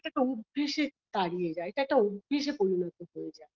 এটা একটা অভ্যাসে দাঁড়িয়ে যায় এটা একটা অভ্যাসে পরিণত হয়ে যায়